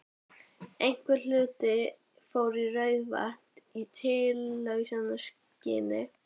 Einhver hluti fór í Rauðavatn í tilraunaskyni.